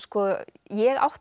ég átti